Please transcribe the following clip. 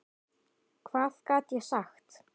Hvað gat ég sagt?